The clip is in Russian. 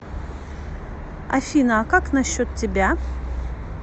афина а как насчет тебя